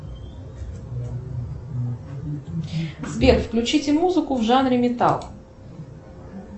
сбер включите музыку в жанре металл